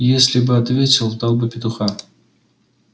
если бы ответил дал бы петуха